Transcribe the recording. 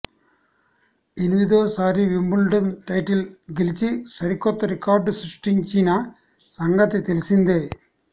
ఎనిమిదోసారి Wimbledon title గెలిచి సరికొత్త record సృష్టించిన సంగతి తెలిసిందే